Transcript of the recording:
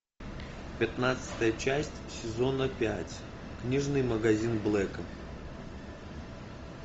пятнадцатая часть сезона пять книжный магазин блэка